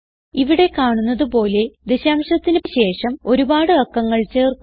ഇവിടെ കാണുന്നത് പോലെ ദശാംശത്തിന് ശേഷം ഒരുപാട് അക്കങ്ങൾ ചേർക്കുക